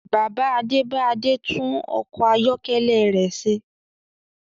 Bàbá Adé bá Adé tún ọkọ̀ ayọ́kẹ́lẹ̀ rẹ ṣe